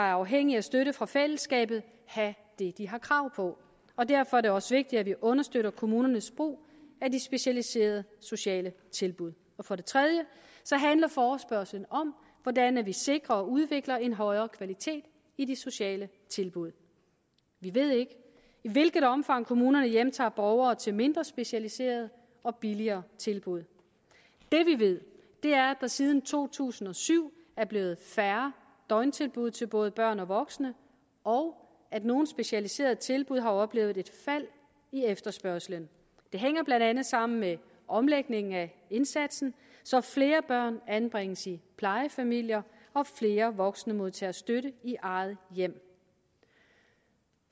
er afhængige af støtte fra fællesskabet have det de har krav på og derfor er det også vigtigt at vi understøtter kommunernes brug af de specialiserede sociale tilbud for det tredje handler forespørgslen om hvordan vi sikrer og udvikler en højere kvalitet i de sociale tilbud vi ved ikke i hvilket omfang kommunerne hjemtager borgere til mindre specialiserede og billigere tilbud det vi ved er at der siden to tusind og syv er blevet færre døgntilbud til både børn og voksne og at nogle specialiserede tilbud har oplevet et fald i efterspørgslen det hænger blandt andet sammen med omlægningen af indsatsen så flere børn anbringes i plejefamilier og flere voksne modtager støtte i eget hjem